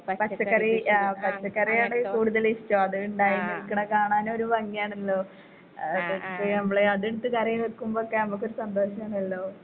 പച്ചക്കറി ആ പച്ചക്കറിയാണ് കൂടുതല് ഇഷ്ടം അതിണ്ടായി നിൽക്ക്ണ കാണാനൊരു ഭംഗിയാണല്ലോ. ആ അതിന്നിട്ട് കറി വെക്കുമ്പൊക്കെ നമ്മക്കൊരു സന്തോഷാണല്ലോ.